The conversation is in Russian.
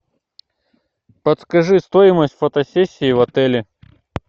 подскажи стоимость фотосессии в отеле